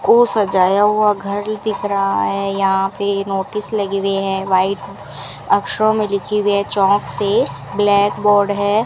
को सजाया हुआ घर दिख रहा है यहां पे नोटिस लगी हुई है व्हाइट अक्षरों में लिखी हुई है चॉक् से ब्लैक बोर्ड है।